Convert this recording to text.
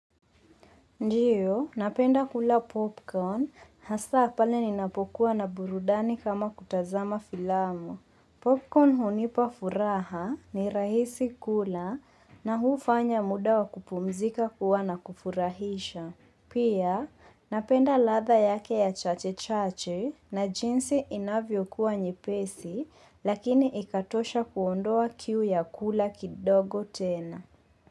Ndiyo, napenda kula popcorn. Hasa pale ninapokuwa na burudani kama kutazama filamu. Popcorn hunipa furaha ni rahisi kula na huu fanya muda wa kupumzika kuwa na kufurahisha. Pia, napenda ladha yake ya chache-chache na jinsi inavyo kuwa nyepesi lakini ikatosha kuondoa kiu ya kula kidogo tena.